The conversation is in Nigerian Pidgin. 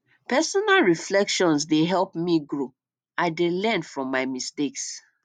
personal reflection dey help me grow i dey learn from my mistakes